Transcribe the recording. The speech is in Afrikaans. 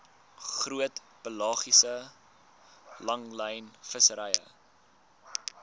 groot pelagiese langlynvissery